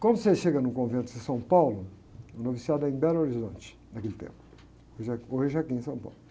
Quando você chega no convento de São Paulo, o noviciato era em Belo Horizonte naquele tempo, hoje é, hoje é aqui em São Paulo.